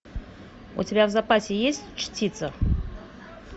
у тебя в запасе есть чтица